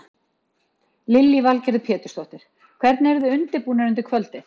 Lillý Valgerður Pétursdóttir: Hvernig eruð þið undirbúnir undir kvöldið?